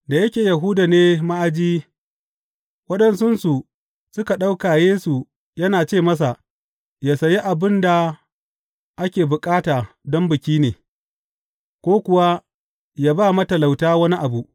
Da yake Yahuda ne ma’aji, waɗansunsu suka ɗauka Yesu yana ce masa yă sayi abin da ake bukata don Bikin ne, ko kuwa yă ba wa matalauta wani abu.